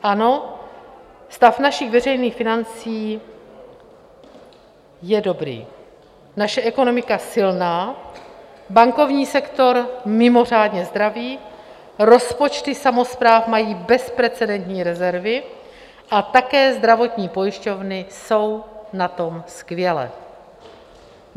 Ano, stav našich veřejných financí je dobrý, naše ekonomika silná, bankovní sektor mimořádně zdravý, rozpočty samospráv mají bezprecedentní rezervy a také zdravotní pojišťovny jsou na tom skvěle.